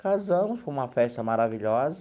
Casamos, foi uma festa maravilhosa.